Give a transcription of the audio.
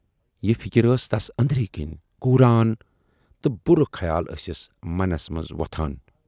یہِ فِکر ٲس تَس ٲندرۍ کِنۍ کوٗران تہٕ بُرٕ خیال ٲسِس منس منز وۅتھان۔